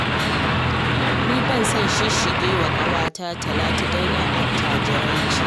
Ni ba na son shisshige wa ƙawata Talatu, don 'yar attajirai ce